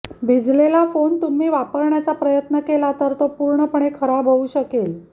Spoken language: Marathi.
भिजलेला फोन तुम्ही वापरण्याचा प्रयत्न केला तर तो पूर्णपणे खराब होऊ शकेल